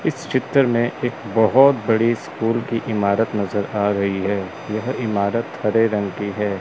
इस चित्र में एक बहुत बड़ी स्कूल की इमारत नजर आ रही है यह इमारत हरे रंग की है।